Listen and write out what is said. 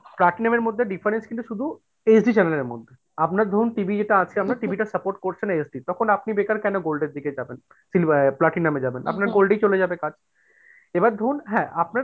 কাট নামের মধ্যে difference কিন্তু শুধু HD channel এর মধ্যে আপনার ধরুন TV যেটা আছে আপনার TV টা support করছে না HD তখন আপনি বেকার কেন gold এর দিকে যাবেন sliver platinum এ যাবেন আপনার gold এই চলে যাবে কাজ এবার ধরুন হ্যাঁ আপনার,